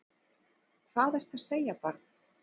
Hvað ertu að segja barn?